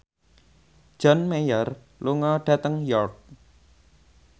John Mayer lunga dhateng York